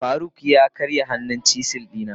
faruk ya karya hannun chisel dina.